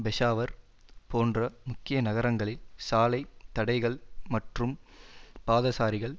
பெஷாவர் போன்ற முக்கிய நகரங்களில் சாலை தடைகள் மற்றும் பாதசாரிகள்